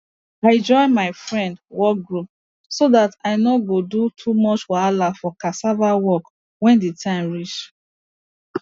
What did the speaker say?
i join my friend work group so that i no go do too much wahala for cassava work when the time reach